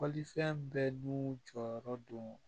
Fɔlifɛn bɛɛ dun jɔyɔrɔ do